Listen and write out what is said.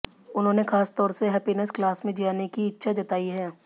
उन्होंने खासतौर से हैप्पीनेस क्लास में जाने की इच्छा जताई है